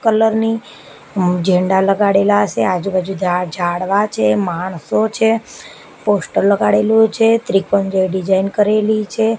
Colour ની ઝંડા લગાડેલા સે આજુ-બાજુ ઝાડ ઝાડવા છે માણસો છે પોસ્ટર લગાડેલું છે ત્રિકોણ જેવી ડિઝાઇન કરેલી છે.